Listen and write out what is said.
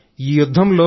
ఈ యుద్ధంలో